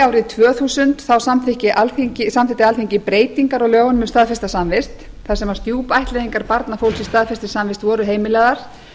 árið tvö þúsund samþykkti alþingi breytingar á lögunum um staðfesta samvist þar sem stjúpættleiðingar barna fólks í staðfestri samvist voru heimilaðar